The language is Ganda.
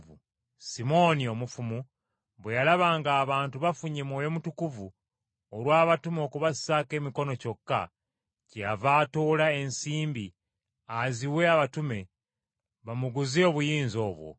Simooni, Omufumu, bwe yalaba ng’abantu bafunye Mwoyo Mutukuvu olw’abatume okubassaako emikono kyokka, kyeyava atoola ensimbi aziwe abatume bamuguze obuyinza obwo.